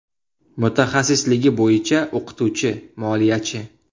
Mutaxassisligi bo‘yicha o‘qituvchi, moliyachi.